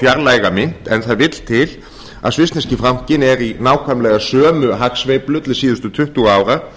fjarlæga mynt en það vill til að svissneski frankinn er í nákvæmlega sömu hagsveiflu til síðustu tuttugu ára